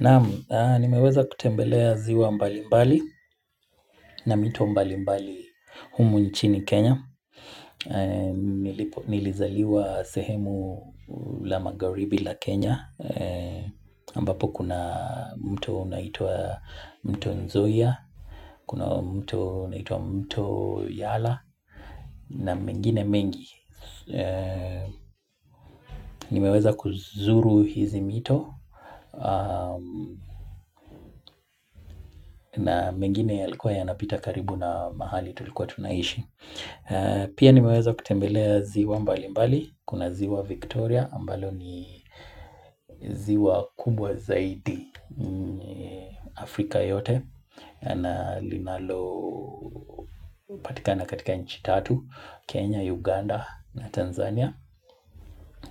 Nam nimeweza kutembelea ziwa mbalimbali, na mito mbalimbali humu nchini Kenya. Nilizaliwa sehemu la magharibi la Kenya. Ambapo kuna mto unaitwa mto Nzoia, kuna mto unaitwa mto Yala, na mingine mengi. Nimeweza kuzuru hizi mito na mengine yalikuwa yanapita karibu na mahali tulikuwa tunaishi Pia nimeweza kutembelea ziwa mbalimbali Kuna ziwa Victoria ambalo ni ziwa kubwa zaidi Afrika yote na linalopatikana katika nchi tatu Kenya, Uganda na Tanzania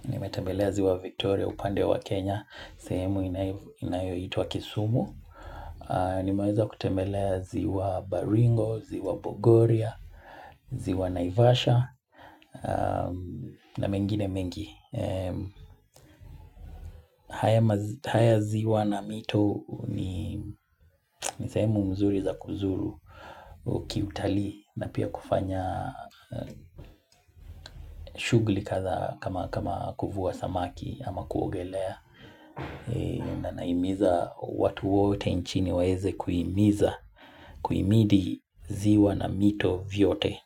Nimetembelea ziwa Victoria upande wa Kenya sehemu inayoitwa kisumu Nimeweza kutembelea ziwa Baringo, ziwa Bogoria, ziwa Naivasha na mengine mengi haya ziwa na mito ni sehemu mzuri za kuzuru Kiutalii na pia kufanya shughuli kadha kama kuvua samaki ama kuogelea na nahimiza watu wote nchini waeze kuhimiza kuimidi ziwa na mito vyote.